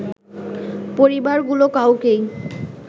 পরিবারগুলো কাউকেই